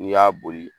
N'i y'a boli